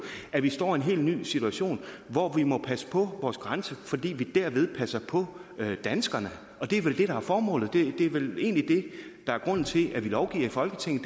at vi står i en helt ny situation hvor vi må passe på vores grænser fordi vi derved passer på danskerne og det er vel det der er formålet det er vel egentlig det der er grunden til at vi lovgiver i folketinget